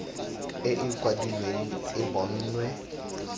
e e kwadilweng e bonwe